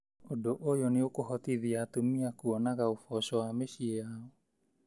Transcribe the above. Undũ ũyũ nĩũkũhotithia atumia kwonaga ũboco wa mĩciĩ yao.